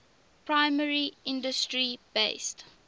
primary industry based